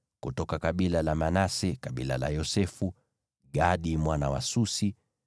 kutoka kabila la Manase (kabila la Yosefu), Gadi mwana wa Susi;